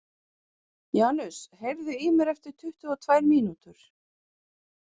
Janus, heyrðu í mér eftir tuttugu og tvær mínútur.